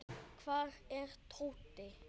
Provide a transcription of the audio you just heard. Hvar er Tóti?